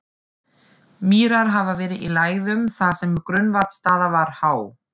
Mýrar hafa verið í lægðum þar sem grunnvatnsstaða var há.